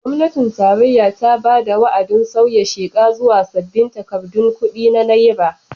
Gwamnatin tarayya ta bada wa'adin sauya sheka zuwa sabbin takardun kudi na naira.